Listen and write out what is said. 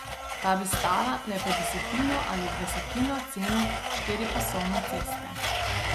Ta bi stala le petdesetino ali dvajsetino cene štiripasovne ceste.